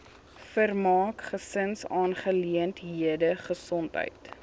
vermaak gesinsaangeleenthede gesondheid